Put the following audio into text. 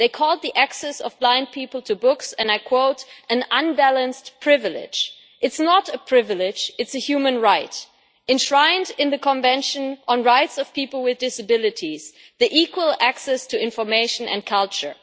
They called the access of blind people to books, and I quote, an unbalanced privilege'. It is not a privilege it is a human right enshrined in the Convention on Rights of People with Disabilities, the right of equal access to information and culture.